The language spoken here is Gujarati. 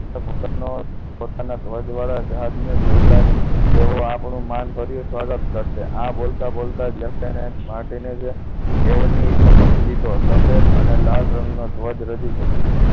પોતાના ધ્વજ વાળા જહાજને જોતા જ તેઓ આપણું માનભર્યું સ્વાગત કરશે આ બોલતા જ left hand martin જ તેઓની સમક્ષ લીધો સફેદ અને લાલ રંગનો ધ્વજ રજુ કર્યું